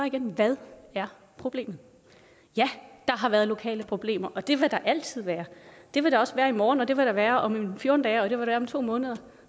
igen hvad er problemet ja der har været lokale problemer og det vil der altid være det vil der også være i morgen og det vil der være om fjorten dage og det være om to måneder